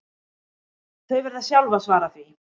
Þau verða sjálf að svara því